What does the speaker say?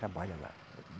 Trabalha lá.